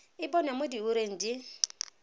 e bonwa mo diureng di